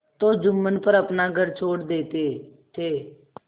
तो जुम्मन पर अपना घर छोड़ देते थे